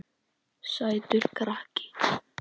Sætur krakki!